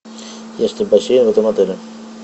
есть ли бассейн в этом отеле